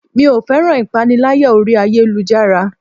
Mi ò féràn ìpaniláyà orí ayélujára.